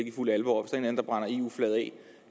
i fuld alvor